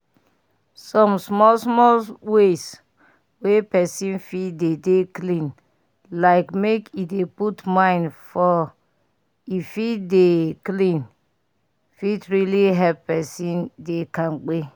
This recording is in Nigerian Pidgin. some small small ways wey pesin fit dey dey clean like make e dey put mind for e fit dey dey clean fit really help pesin dey kampe